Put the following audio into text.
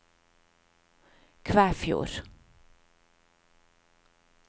Kvæfjord